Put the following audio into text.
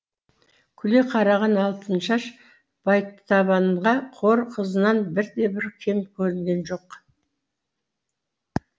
күле қараған алтыншаш байтабынға хор қызынан бірде бір кем көрінген жоқ